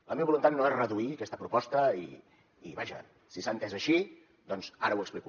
la meva voluntat no és reduir aquesta proposta i vaja si s’ha entès així doncs ara ho explico